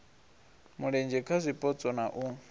mulenzhe kha zwipotso na u